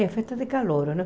É, festa de calouro, não?